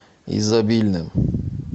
изобильным